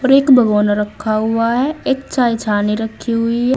और एक भगोना रखा हुआ है एक चाय छनि रखी हुई है।